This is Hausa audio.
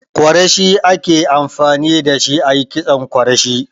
Kwarashi ake amfani dashi ayi kitson kwarashi.